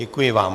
Děkuji vám.